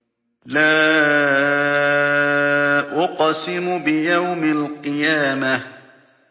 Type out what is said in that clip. لَا أُقْسِمُ بِيَوْمِ الْقِيَامَةِ